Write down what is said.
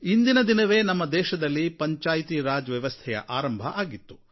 ಇಂದಿನ ದಿನವೇ ನಮ್ಮ ದೇಶದಲ್ಲಿ ಪಂಚಾಯತ್ ರಾಜ್ ವ್ಯವಸ್ಥೆಯ ಆರಂಭ ಆಗಿತ್ತು